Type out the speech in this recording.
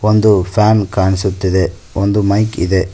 ಒಂದು ಪ್ಯಾನ್ ಕಾಣಿಸುತ್ತಿದೆ ಒಂದು ಮೈಕ್ ಇದೆ.